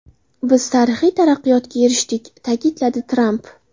Biz tarixiy taraqqiyotga erishdik”, ta’kidladi Tramp.